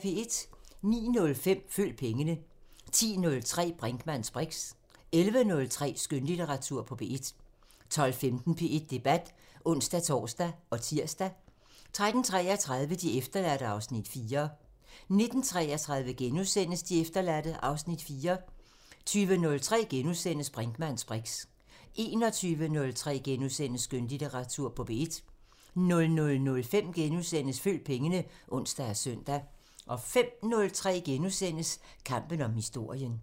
09:05: Følg pengene 10:03: Brinkmanns briks 11:03: Skønlitteratur på P1 12:15: P1 Debat (ons-tor og tir) 13:33: De efterladte (Afs. 4) 19:33: De efterladte (Afs. 4)* 20:03: Brinkmanns briks * 21:03: Skønlitteratur på P1 * 00:05: Følg pengene *(ons og søn) 05:03: Kampen om historien *